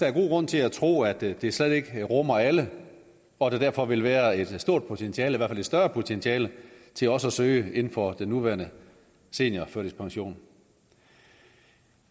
er god grund til at tro at det det slet ikke rummer alle og at der derfor vil være et stort potentiale et større potentiale til også at søge inden for den nuværende seniorførtidspension